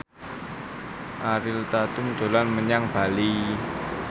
Ariel Tatum dolan menyang Bali